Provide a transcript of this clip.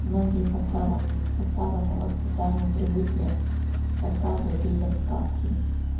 многие по старому по старому воспитанию привыкли рассказывать детям сказки